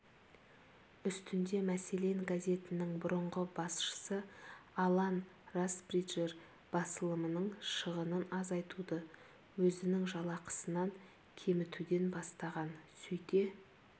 үстінде мәселен газетінің бұрынғы басшысы алан расбриджер басылымның шығынын азайтуды өзінің жалақысын кемітуден бастаған сөйте